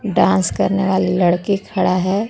Dance करने वाली लड़की खड़ा है।